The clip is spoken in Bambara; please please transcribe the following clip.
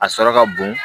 A sɔrɔ ka bon